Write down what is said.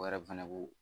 O yɛrɛ fɛnɛ b'u